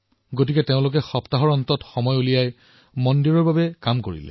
সেয়ে তেওঁলোকে সপ্তাহান্তিকৰ সময়ছোৱাত মন্দিৰৰ কাম আৰম্ভ কৰিলে